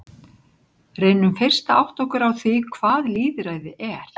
Reynum fyrst að átta okkur á því hvað lýðræði er.